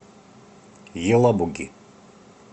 елабуги